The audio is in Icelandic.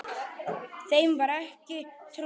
Þeim var ekki trúað.